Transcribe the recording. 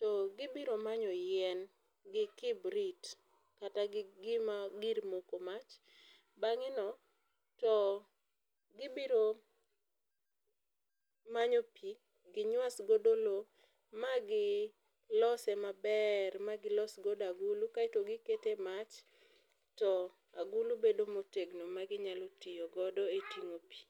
to gi biro manyo yien gi kibrit kata gi gima gir moko mach bang'e no to gi biro manyo pi gi nywas godo lo ma gi lose ma ber ma gi los godo agulu kaito gi keto e mach to agulu bedo ma otegno ma gi nyalo tiyo godo e tingo pi.